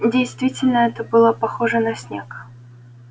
действительно это было похоже на снег